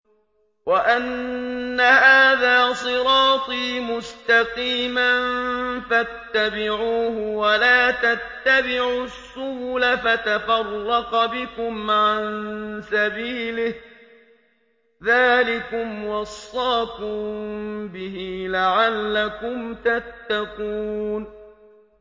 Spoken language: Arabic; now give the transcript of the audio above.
وَأَنَّ هَٰذَا صِرَاطِي مُسْتَقِيمًا فَاتَّبِعُوهُ ۖ وَلَا تَتَّبِعُوا السُّبُلَ فَتَفَرَّقَ بِكُمْ عَن سَبِيلِهِ ۚ ذَٰلِكُمْ وَصَّاكُم بِهِ لَعَلَّكُمْ تَتَّقُونَ